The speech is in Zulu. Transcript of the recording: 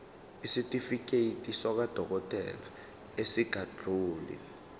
isitifiketi sakwadokodela esingadluli